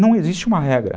Não existe uma regra.